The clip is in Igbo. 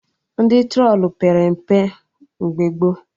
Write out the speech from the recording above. Ndị trolu pere mpe mgbe gboo